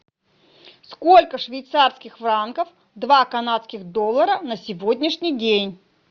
сколько швейцарских франков два канадских доллара на сегодняшний день